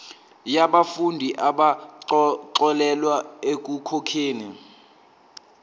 yabafundi abaxolelwa ekukhokheni